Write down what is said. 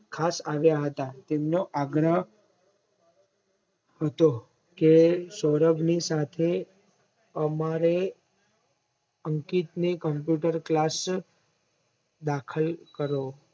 ખાસ આવ્યા હતા તેમનો આગ્રહ હતો કે સૌરભની સાથે અમારે અંકિતને Computer class દાખલ કરો